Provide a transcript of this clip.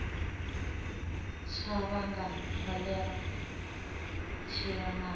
tsha vhanga kholera tshi wanala